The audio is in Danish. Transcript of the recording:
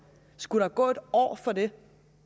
skulle der gå et år for det